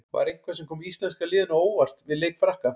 Var eitthvað sem kom íslenska liðinu á óvart við leik Frakka?